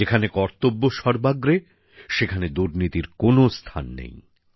যেখানে কর্তব্য সর্বাগ্রে সেখানে দুর্নীতির কোনো স্থান নেই